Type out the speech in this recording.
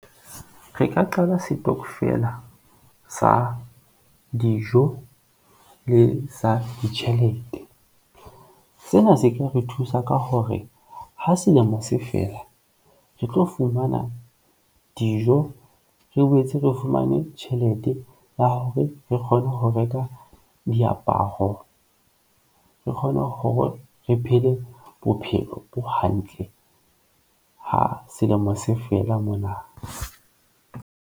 Re ka qala setokofela sa dijo le sa ditjhelete. Sena se ka re thusa ka hore ha selemo se fela re tlo fumana dijo re boetse re fumane tjhelete ya hore re kgone ho reka diaparo, re kgone hore re phele bophelo bo hantle ha selemo se fela mona.